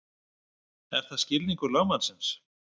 Er það skilningur lögmannsins?